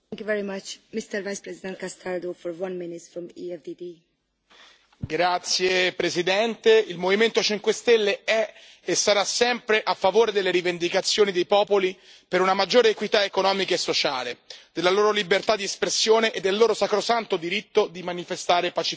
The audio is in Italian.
Signora Presidente, onorevoli colleghi, il Movimento 5 Stelle è e sarà sempre a favore delle rivendicazioni dei popoli per una maggiore equità economica e sociale, della loro libertà di espressione e del loro sacrosanto diritto di manifestare pacificamente.